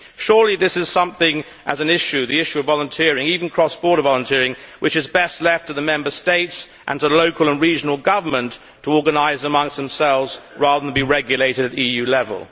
Surely this is something as an issue the issue of volunteering, even cross border volunteering which is best left to the Member States and to local and regional governments to organise amongst themselves rather than being regulated at EU level.